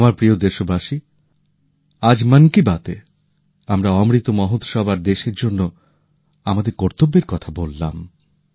আমার প্রিয় দেশবাসী আজ মন কি বাত এ আমরা অমৃত মহোৎসব আর দেশের জন্য আমাদের কর্তব্যের কথা বললাম